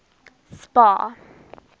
spar